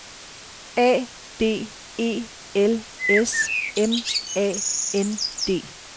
A D E L S M A N D